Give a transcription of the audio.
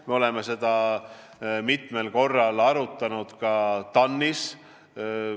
Me oleme seda mitmel korral arutanud ka TAN-is.